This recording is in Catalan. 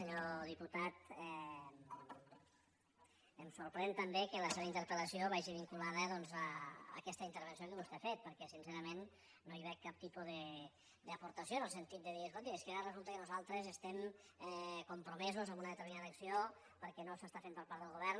senyor diputat em sorprèn també que la seva interpel·lació vagi vinculada doncs a aquesta intervenció que vostè ha fet perquè sincerament no hi veig cap tipus d’aportació en el sentit de dir escolti és que ara resulta que nosaltres estem compromesos amb una determinada acció perquè no s’està fent per part del govern